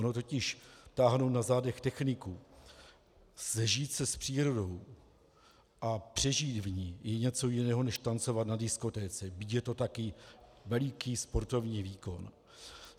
Ono totiž táhnout na zádech techniku, sžít se s přírodou a přežít v ní je něco jiného než tancovat na diskotéce, byť je to taky veliký sportovní výkon.